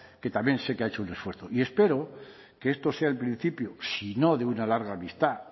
que también sé que ha hecho un esfuerzo y espero que esto sea el principio si no de una larga amistad